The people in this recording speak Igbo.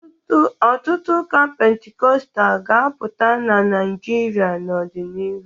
Ọtụtụ ụka Pentikọstal ga-apụta na Naijiria n'ọdịnihu